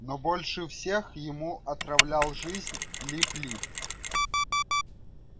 но больше всех ему отравлял жизнь лип лип